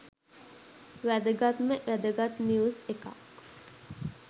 වැදගත්ම වැදගත් නිවුස් එකක්.